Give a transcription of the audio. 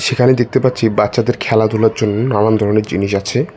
সেখানে দেখতে পাচ্ছি বাচ্চাদের খেলাধুলার জন্য নানান ধরনের জিনিস আছে।